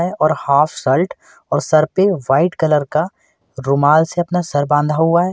है और half shirt और सर पे व्हाइट कलर का रुमाल से अपना सर बांधा हुआ है।